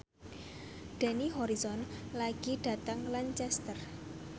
Dani Harrison lunga dhateng Lancaster